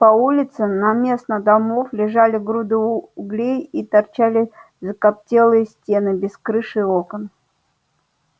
по улицам наместо домов лежали груды углей и торчали закоптелые стены без крыш и окон